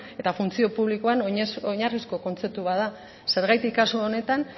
eta funtzio publikoan oinarrizko kontzeptu bat da zergatik kasu honetan